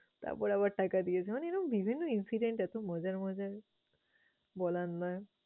তারপর আবার টাকা দিয়েছে মানে এরকম বিভিন্ন incident এতো মজার মজার বলার নয়।